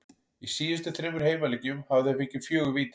Í síðustu þremur heimaleikjum hafa þeir fengið fjögur víti.